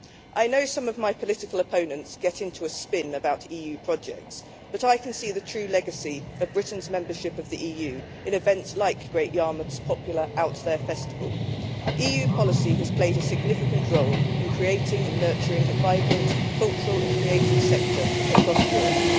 I know some of my political opponents get into a spin about EU projects, but I can see the true legacy of Britain's membership of the EU in events like Great Yarmouth's popular Out There festival. EU policy has played a significant role in creating and nurturing a vibrant cultural and creative sector across Europe.